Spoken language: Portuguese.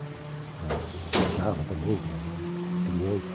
para Eu viajava também para clientes.